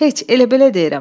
Heç elə-belə deyirəm.